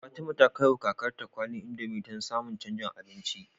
Fatima ta kai wa kakar ta kwalin indomie dan ta samun canjin abinci